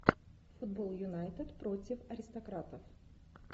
футбол юнайтед против аристократов